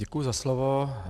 Děkuji za slovo.